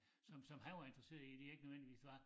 Som som han var interesseret i de ikke nødvendigvis var